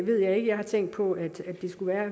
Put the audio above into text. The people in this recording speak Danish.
ved jeg ikke jeg har tænkt på at det skulle